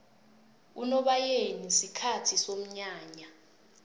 unobayeni sikhathi somnyanya